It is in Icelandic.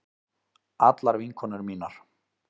Allar vinkonur mínar.